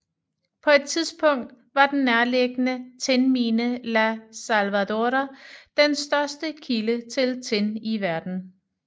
På et tidspunkt var den nærliggende tinmine La Salvadora den største kilde til tin i verden